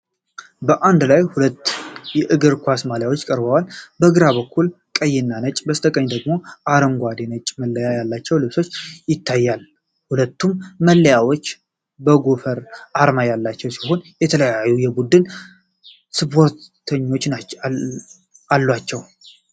በአንድ ላይ ሁለት የእግር ኳስ ማሊያዎች ቀርበዋል። በግራ በኩል ቀይና ነጭ፣ በስተቀኝ ደግሞ አረንጓዴና ነጭ መለያ ያለው ልብስ ይታያል። ሁለቱም መለያዎች የጎፈሬ አርማ ያሏቸው ሲሆን የተለያዩ የቡድን ስፖንሰሮች አሏቸው።